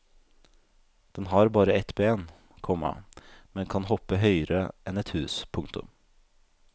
Den har bare ett ben, komma men kan hoppe høyere enn et hus. punktum